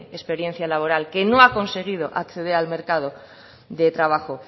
experiencia laboral que no ha conseguido acceder al mercado de trabajo